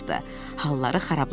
Halları xarablaşmışdı.